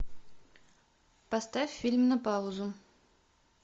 поставь фильм на паузу